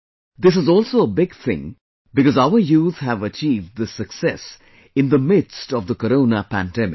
This is also a big thing because our youth have achieved this success in the midst of the corona pandemic